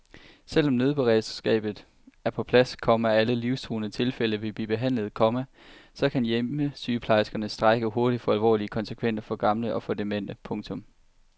Selv om nødberedskabet er på plads, komma og alle livstruende tilfælde vil blive behandlet, komma så kan hjemmesygeplejerskernes strejke hurtigt få alvorlige konsekvenser for gamle og demente. punktum